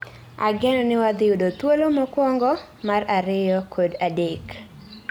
Ageno ni wadhiyudo thuolo mokuongo, mar ariyo kod adek